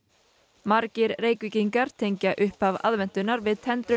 margir Reykvíkingar tengja upphaf aðventunnar við tendrun